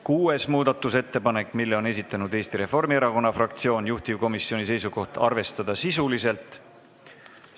Kuuenda muudatusettepaneku on esitanud Eesti Reformierakonna fraktsioon, juhtivkomisjoni seisukoht on arvestada seda sisuliselt.